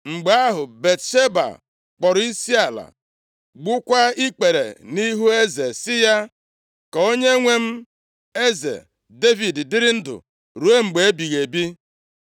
Mgbe ahụ, Batsheba kpọrọ isiala, gbukwaa ikpere nʼihu eze sị ya, “Ka onyenwe m eze Devid dịrị ndụ ruo mgbe ebighị ebi.”